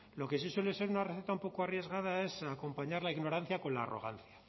lo que sí suele ser una receta un poco arriesgada es acompañar la ignorancia con la arrogancia